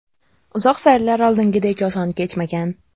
Uzoq sayrlar oldingidek oson kechmagan.